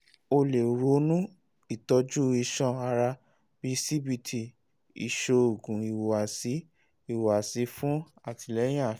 o le ronu itọju iṣan-ara bii cbt iṣoogun ihuwasi ihuwasi fun atilẹyin afi